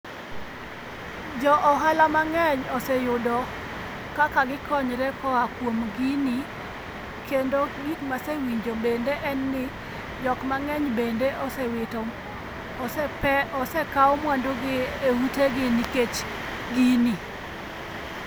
Jo ohala mang'eny oseyudo kaka gikonyre koa kuom gini kendo gik masewinjo bende en ni jok mang'eny bende osewito, osekaw mwandugi e utegi nikech gini.